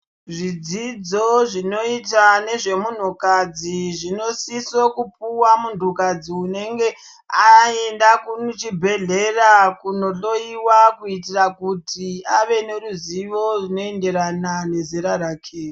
Zvidzidzo zvinoyita nezvemunhukadzi, zvinosiso kupuwa munhukadzi unenge ayenda kuchibhedhlera kunohloyowa kuyitira kuti ave neruzivo runoyenderana nezera rake.